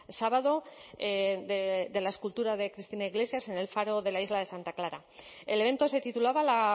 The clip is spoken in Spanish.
sábado de la escultura de cristina iglesias en el faro de la isla de santa clara el evento se titulaba la